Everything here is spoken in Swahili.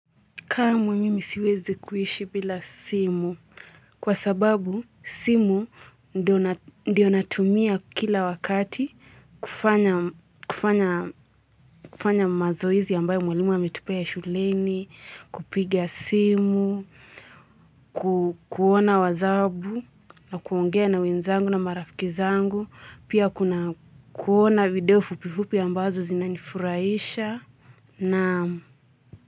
Kamwe mimi siwezi kuishi bila simu kwa sababu simu ndio natumia kila wakati kufanya kufanya mazoezi ambayo mwalimu ametupea shuleni, kupiga simu, kuona wazabu na kuongea na wenzangu na marafikizangu, pia kuona video fupifupi ambazo zinanifuraisha na.